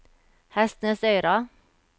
Hestnesøyra